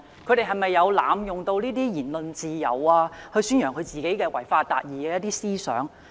這些教師有否濫用言論自由宣揚自己違法達義的思想？